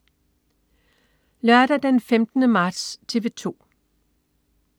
Lørdag den 15. marts - TV 2: